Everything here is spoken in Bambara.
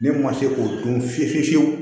Ne ma se k'o dun fiye fiye fiye fiyewu